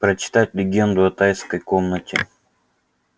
прочитать легенду о тайской комнате